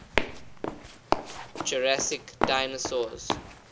jurassic dinosaurs